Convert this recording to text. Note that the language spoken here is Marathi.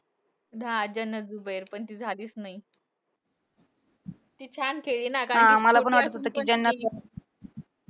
हा. जन्नत झुबेर! पण ती झालीच नाही. ती छान खेळली ना, कारण कि तिचं असं होतं कि